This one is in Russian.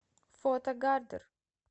фото гардер